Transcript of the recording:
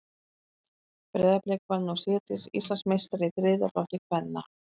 Breiðablik varð nú síðdegis Íslandsmeistari í þriðja flokki kvenna.